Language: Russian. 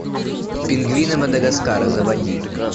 пингвины мадагаскара заводи